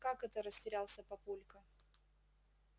как это растерялся папулька